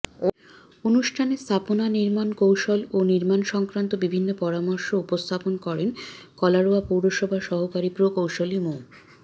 অনুষ্ঠানে স্থাপনা নির্মাণ কৌশল ও নির্মাণসংক্রান্ত বিভিন্ন পরামর্শ উপস্থাপন করেন কলারোয়া পৌরসভার সহকারী প্রকৌশলী মো